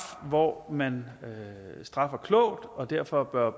hvor man straffer klogt og derfor bør